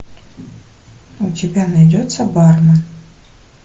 у тебя найдется бармен